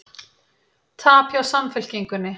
Tap hjá Samfylkingunni